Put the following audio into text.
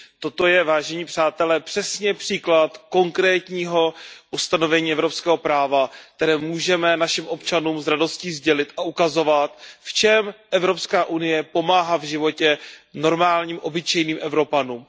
Toto je, vážení přátelé, přesně příklad konkrétního ustanovení evropského práva, které můžeme našim občanům s radostí sdělit a ukazovat, v čem EU pomáhá v životě normálním obyčejným Evropanům.